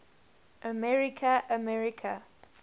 america america